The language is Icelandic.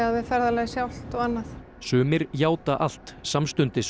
við ferðalagið sjálft og annað sumir játa allt samstundis